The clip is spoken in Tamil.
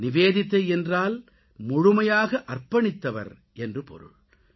நிவேதிதா என்றால் முழுமையாக அர்ப்பணித்தவர் என்று பொருள்